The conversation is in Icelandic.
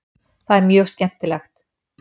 Það er mjög skemmtilegt.